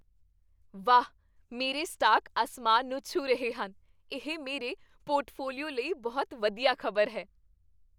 ਵਾਹ, ਮੇਰੇ ਸਟਾਕ ਅਸਮਾਨ ਨੂੰ ਛੂਹ ਰਹੇ ਹਨ! ਇਹ ਮੇਰੇ ਪੋਰਟਫੋਲੀਓ ਲਈ ਬਹੁਤ ਵਧੀਆ ਖ਼ਬਰ ਹੈ।